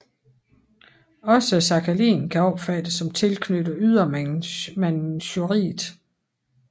Også Sakhalin kan opfattes som tilknyttet Ydre Manchuriet